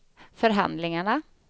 förhandlingarna